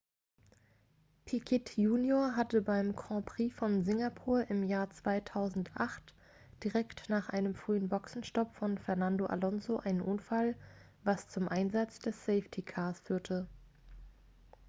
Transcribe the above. piquet junior hatte beim grand prix von singapur im jahr 2008 direkt nach einem frühen boxenstopp von fernando alonso einen unfall was zum einsatz des safety cars führte